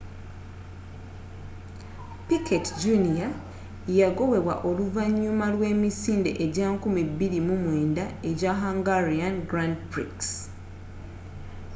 piquet jr yagobebwa oluvanyuma lw'emisinde ejja 2009 ejja hungarian grand prix